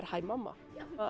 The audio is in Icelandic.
hæ mamma